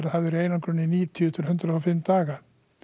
í einangrun í níutíu til hundrað og fimm daga